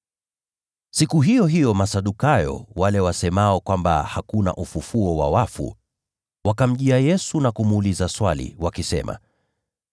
Siku hiyo hiyo Masadukayo, wale wasemao kwamba hakuna ufufuo wa wafu, wakamjia Yesu na kumuuliza swali, wakisema,